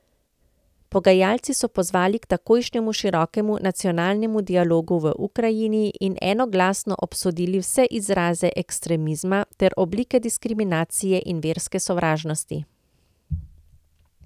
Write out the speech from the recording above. Pogajalci so pozvali k takojšnjemu širokemu nacionalnemu dialogu v Ukrajini in enoglasno obsodili vse izraze ekstremizma ter oblike diskriminacije in verske sovražnosti.